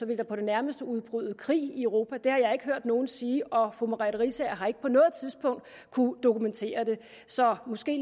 der på det nærmeste udbryde krig i europa det har jeg ikke hørt nogen sige og fru merete riisager har ikke på noget tidspunkt kunnet dokumentere det så måske